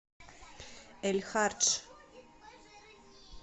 эль хардж